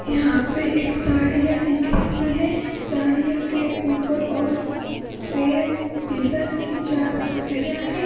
यहां पे एक साड़ियां दिख रही है साड़ियां के ऊपर और सेम डिजाइन की चार साड़ियां हैं।